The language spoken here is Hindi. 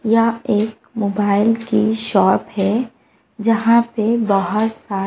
यह एक मोबाइल की शॉप है यहां पे बहुत सारे--